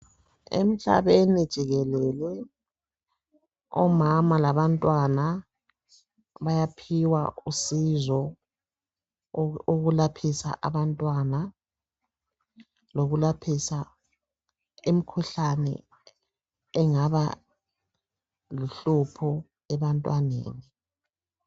Emhlabeni jikelele omama labantwana bayaphiwa usizo ukulaphisa abantwana imkhuhlane engabaluhlupho ebantwaneni